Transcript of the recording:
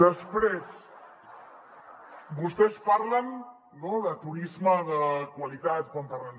després vostès parlen de turisme de qualitat quan parlen